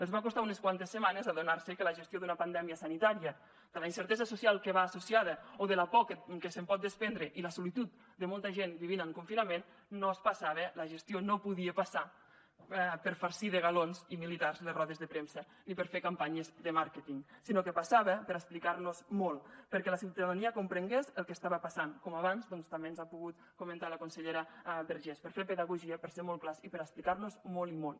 els va costar unes quantes setmanes adonar se que la gestió d’una pandèmia sanitària de la incertesa social que hi va associada o de la por que se’n pot desprendre i la solitud de molta gent vivint en confinament no passava la gestió no podia passar per farcir de galons i militars les rodes de premsa ni per fer campanyes de màrqueting sinó que passava per explicar nos molt perquè la ciutadania comprengués el que estava passant com abans també ens ha pogut comentar la consellera vergés per fer pedagogia per ser molt clars i per explicar nos molt i molt